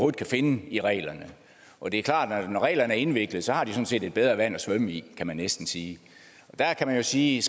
kan finde i reglerne og det er klart at når reglerne er indviklede har de sådan set et bedre vand at svømme i kan man næsten sige og der kan man sige